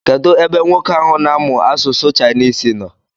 Kedụ ebe nwoke ahụ na-amụ asụsụ Chinese nọ?